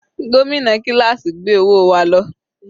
Gómìnà kíláásì gbé owó wa lọ.